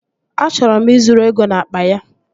Achọrọ m ị zuru ego n'akpa ya